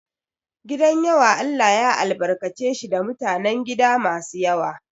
Gidan yawa Allah ya albarkace shi da mutanen gida masu yawa.